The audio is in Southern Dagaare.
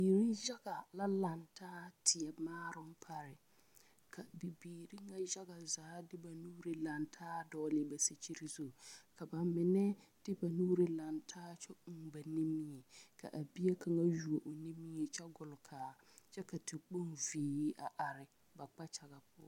Biiri yaga la lantaa teɛ maaroŋ pare ka bibiiri nyɛ yage zaa lantaa de ba nuuri dɔgle ba sikyiri zu ka ba mine de ba nuuri lantaa kyɛ uu ba nimie ka a bie kaŋ yuo o nimie kyɛ gbɔlkaa kyɛ ka tekpoŋ zee a are ba kpakyaŋaŋ.